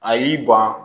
A y'i ban